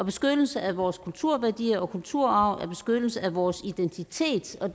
beskyttelse af vores kulturværdier og kulturarv er en beskyttelse af vores identitet og